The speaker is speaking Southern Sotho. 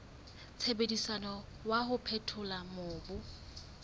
sebediswang wa ho phethola mobu